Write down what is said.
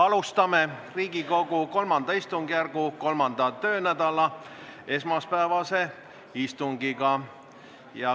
Alustame Riigikogu III istungjärgu 3. töönädala esmaspäevast istungit.